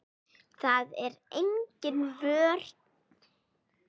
Það er engin vörn.